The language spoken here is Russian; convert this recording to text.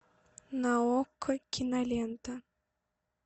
на окко кинолента